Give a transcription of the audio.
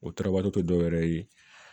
O tarabali tɛ dɔ wɛrɛ ye